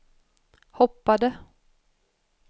hoppade